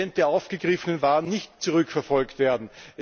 10 der aufgegriffenen Waren nicht zurückverfolgt werden.